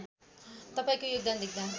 तपाईँको योगदान देख्दा